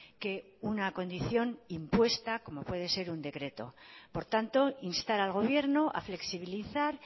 que una condición impuesta como puede ser un decreto por tanto instar al gobierno a flexibilizar